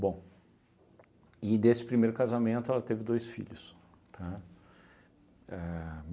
Bom, e desse primeiro casamento ela teve dois filhos, tá? A